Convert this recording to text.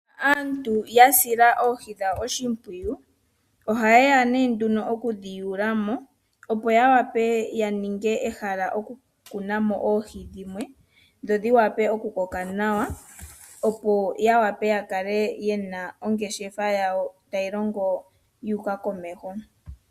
Aantu yasila oohi oshimpwiyu, ohayeya tayedhi yuulamo , yaninge ehala okukunamo oohi dhimwe , dho dhiwape okukoka nawa opo yawape yakale yena ongeshefa yawo, tayi longo yuuka komeho.